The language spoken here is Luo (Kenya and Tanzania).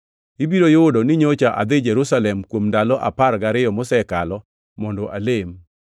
Ibiro yudo ni nyocha adhi Jerusalem kuom ndalo apar gariyo mosekalo mondo alem.